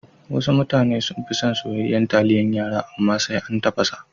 Wasu mutane sunfi son soyayyan taliyan yara, amma sai an tafasa sa.